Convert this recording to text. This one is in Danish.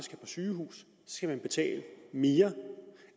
sygehus skal den betale mere